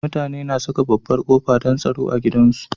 Mutane na Saka babbar qofa, don tsaro gidan su